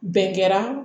Bɛn kɛra